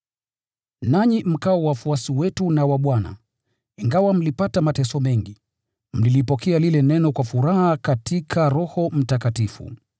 Nanyi mkawa wafuasi wetu na wa Bwana, ingawa mlipata mateso mengi, mlilipokea lile Neno kwa furaha katika Roho Mtakatifu.